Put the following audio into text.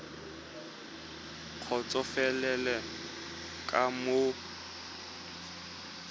kgotsofalele ka moo ngongorego ya